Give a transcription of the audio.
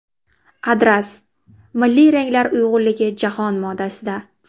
Adras: milliy ranglar uyg‘unligi jahon modasida.